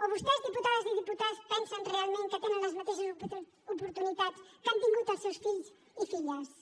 o vostès diputades i diputats pensen realment que tenen les mateixes oportunitats que han tingut els seus fills i filles